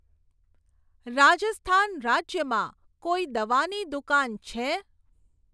રાજસ્થાન રાજ્યમાં કોઈ દવાની દુકાન છે?